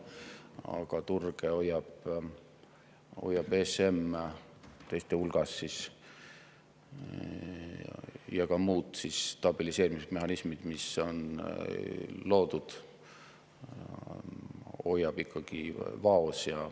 Aga turge hoiab teiste hulgas ESM ja hoiavad ka muud stabiliseerimismehhanismid, mis on loodud, ikkagi vaos.